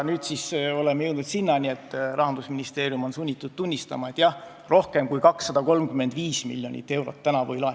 Nüüd oleme jõudnud sinnani, et Rahandusministeerium on sunnitud tunnistama, et jah, rohkem kui 235 miljonit eurot tänavu ei laeku.